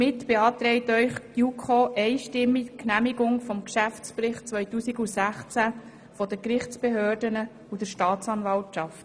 Die JuKo beantragt Ihnen einstimmig die Genehmigung des Geschäftsberichts 2016 der Gerichtsbehörden und der Staatsanwaltschaft.